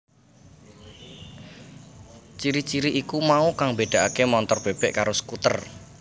Ciri ciri iku mau kang mbédakaké montor bèbèk karo skuter